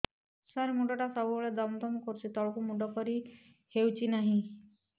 ସାର ମୁଣ୍ଡ ଟା ସବୁ ବେଳେ ଦମ ଦମ କରୁଛି ତଳକୁ ମୁଣ୍ଡ କରି ହେଉଛି ନାହିଁ